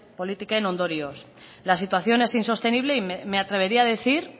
politiken ondorioz la situación es insostenible y me atrevería a decir